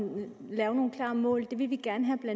lave nogle klare mål det vil vi gerne have at